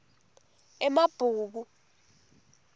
emabhuku